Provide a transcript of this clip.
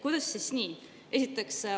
Kuidas siis nii?